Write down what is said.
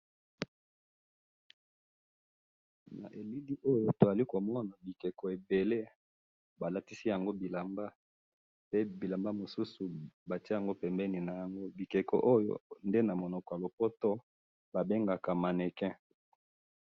Na elili oyo tozali komona bikeko ebele, balatisi yango bilamba, pe bilamba mususu batye yango pembeni nayango, bikeko oyo nde namunoko yalopoto babengaka mannequin.